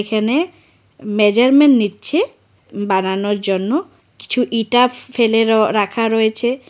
এখানে মেজারমেন নিচ্ছে বানানোর জন্য কিছু ইটা ফেলে রো রাখা রয়েছে।